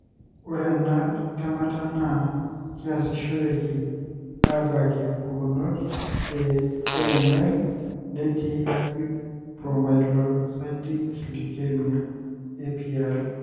ore ena temata na kiasishoreki amabakie pukunot e AML netiiT acute promyelocytic leukemia (APL).